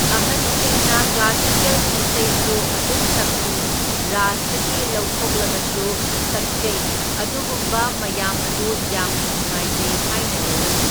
ꯑꯍꯟꯁꯤꯡꯅ ꯀ꯭ꯂꯥꯁꯤꯀꯦꯜꯒꯤ ꯏꯁꯩꯁꯨ ꯑꯗꯨꯝ ꯁꯛꯄꯤ, ꯔꯥꯁꯇꯒꯤ ꯂꯧꯊꯣꯛꯂꯒꯁꯨ ꯁꯛꯆꯩ, ꯑꯗꯨꯒꯨꯝꯕ ꯃꯌꯥꯝ ꯑꯗꯨ ꯌꯥꯝꯅ ꯅꯨꯡꯉꯥꯏꯖꯩ ꯍꯥꯏꯅ ꯂꯧꯏ꯫